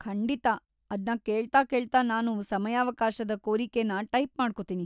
ಖಂಡಿತಾ, ಅದ್ನ ಕೇಳ್ತಾ ಕೇಳ್ತಾ ನಾನು ಸಮಯಾವಕಾಶದ ಕೋರಿಕೆನ ಟೈಪ್ ಮಾಡ್ಕೊತೀನಿ.